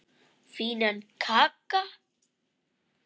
Fínan kagga!